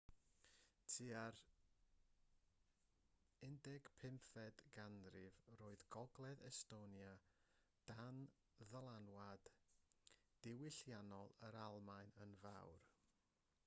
tua'r 15fed ganrif roedd gogledd estonia dan ddylanwad diwylliannol yr almaen yn fawr